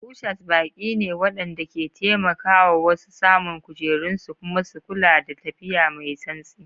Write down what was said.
Ushers baƙi ne waɗanda ke taimaka wa wasu samun kujerunsu kuma su kula da tafiya mai santsi.